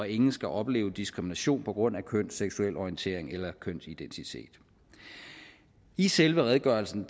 ingen skal opleve diskrimination på grund af køn seksuel orientering eller kønsidentitet i selve redegørelsen